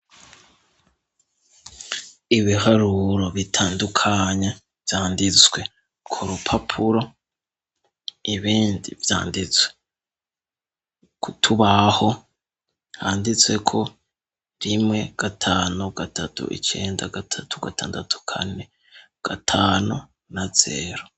Ibiharuro bitandukanye vyanditswe kurupapuro, ibindi vyanditswe kutubaho handitseko, rimwe, gatanu, gatatu , icenda, gatatu, gatandatu, kane, gatanu na zero.